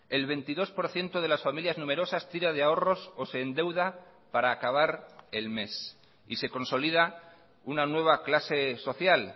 el veintidós por ciento de las familias numerosas tira de ahorros o se endeuda para acabar el mes y se consolida una nueva clase social